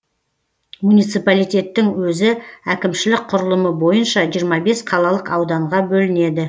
муниципалитеттің өзі әкімшілік құрылымы бойынша жиырма бес қалалық ауданға бөлінеді